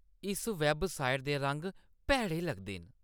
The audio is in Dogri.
इस वैबसाइट दे रंग भैड़े लगदे न।